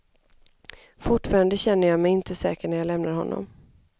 Fortfarande känner jag mig inte säker när jag lämnar honom.